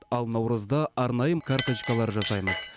ал наурызда арнайым карточкалар жасаймыз